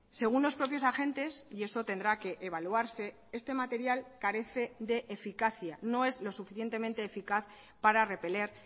según los propios agentes y eso tendrá que evaluarse este material carece de eficacia no es lo suficientemente eficaz para repeler